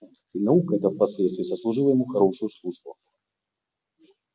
и наука эта впоследствии сослужила ему хорошую службу